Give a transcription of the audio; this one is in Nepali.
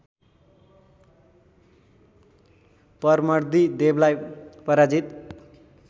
परमर्दी देवलाई पराजित